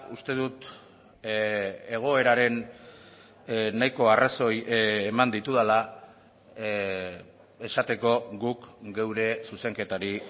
uste dut egoeraren nahiko arrazoi eman ditudala esateko guk geure zuzenketari